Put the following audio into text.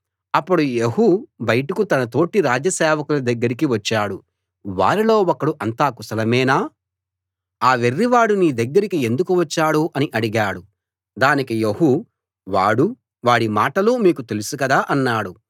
అప్పుడు యెహూ బయటకు తన తోటి రాజ సేవకుల దగ్గరికి వచ్చాడు వారిలో ఒకడు అంతా కుశలమేనా ఆ వెర్రివాడు నీ దగ్గరికి ఎందుకు వచ్చాడు అని అడిగాడు దానికి యెహూ వాడూ వాడి మాటలూ మీకు తెలుసు కదా అన్నాడు